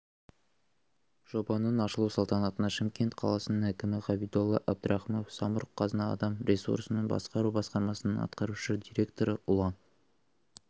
жобаның ашылу салтанатына шымкент қаласының әкімі ғабидолла әбдірахымов самұрық-қазына адам ресурсын басқару басқармасының атқарушы директоры ұлан